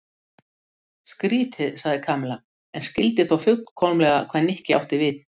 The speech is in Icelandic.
Hún þarf þessa ekki sagði þá félagi minn á fölgula náttsloppnum.